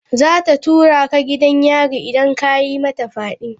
Za ta tura ka gidan yari idan ka yi mata fyade.